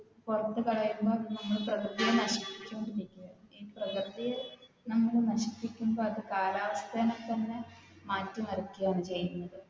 പുറത്തു കളയുമ്പോൾ നമ്മൾ പ്രകൃതിയെ നശിപ്പിക്കുകയാണ്. പ്രകൃതിയെ നമ്മൾ നശിപ്പിക്കുമ്പോൾ അത് കാലാവസ്ഥേനെ തന്നെ മാറ്റിമറിക്കുകയാണ് ചെയ്യുന്നത്